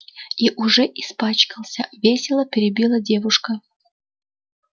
и уже испачкался весело перебила девушка